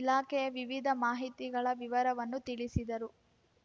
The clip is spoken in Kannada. ಇಲಾಖೆಯ ವಿವಿಧ ಮಾಹಿತಿಗಳ ವಿವರವನ್ನು ತಿಳಿಸಿದರು